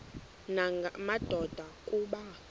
nanga madoda kuba